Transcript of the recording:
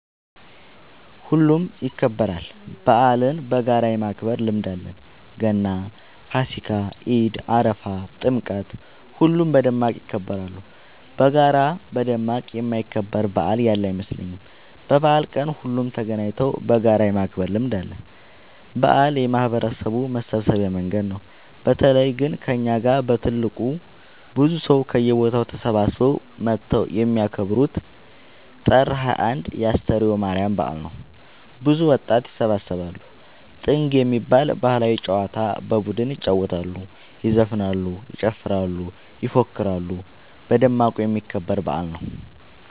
ሁሉም ይከበራል። በአልን በጋራ የማክበር ልምድ አለን ገና ፋሲካ ኢድ አረፋ ጥምቀት ሁሉም በደማቅ ይከበራሉ። በጋራ በደማቅ የማይከበር በአል ያለ አይመስለኝም። በበአል ቀን ሁሉም ተገናኘተው በጋራ የማክበር ልምድ አለ። በአል የማህበረሰቡ መሰብሰቢያ መንገድ ነው። በተለይ ግን እኛ ጋ በትልቁ ብዙ ሰው ከየቦታው ተሰብስበው መተው የሚከበረው ጥር 21 የ አስተርዮ ማርያም በአል ነው። ብዙ ወጣት ይሰባሰባሉ። ጥንግ የሚባል ባህላዊ ጨዋታ በቡድን ይጫወታሉ ይዘፍናሉ ይጨፍራሉ ይፎክራሉ በደማቁ የሚከበር በአል ነው።